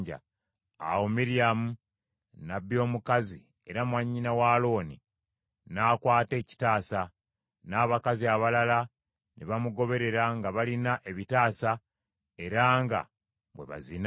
Awo Miryamu, nnabbi omukazi era mwannyina wa Alooni, n’akwata ekitaasa; n’abakazi abalala ne bamugoberera nga balina ebitaasa era nga bwe bazina.